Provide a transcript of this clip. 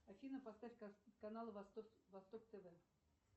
афина поставь канал восток тв